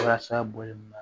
Walasa bɔlɔ in